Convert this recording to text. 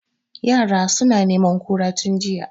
Yara suna neman kura tun jiya